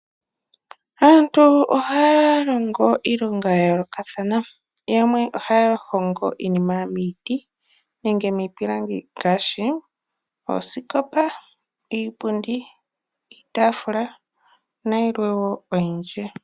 Aantu ohaya longo iilonga ya yoolokathana. Yamwe ohaya hongo iinima miiti nenge miipilangi ngaashi oosikopa, iipundi, iitaafula nayilwe woo oyindji.